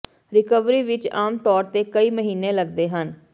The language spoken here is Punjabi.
ਰਿਕਵਰੀ ਵਿੱਚ ਆਮ ਤੌਰ ਤੇ ਕਈ ਮਹੀਨੇ ਲਗਦੇ ਹਨ